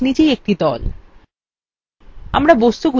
প্রতিটি গাছ নিজেই একটি দল